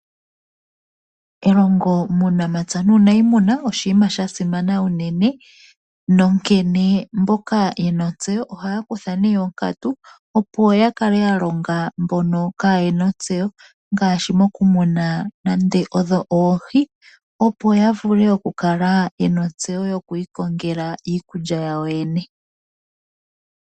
Elongo muunamapya nuuniimuna oshinima shasimana unene nonkene mboka yena otseyo oha kutha nee onkatu opo yakale yalonga mboka kaayena ontseyo ngaashi okumuna oohi opo yavule okukala yena ontseyo moku ikongela iikulya yawo yoyene.